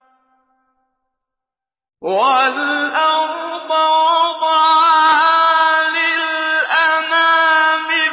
وَالْأَرْضَ وَضَعَهَا لِلْأَنَامِ